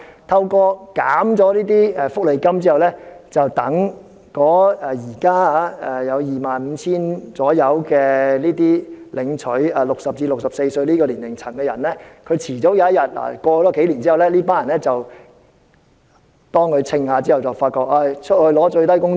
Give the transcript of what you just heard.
削減福利金後，現時大約 25,000 名在60至64歲年齡層的領取綜援人士，終有一天，例如數年後，當他們計算過後，便會發覺被迫要去賺取最低工資。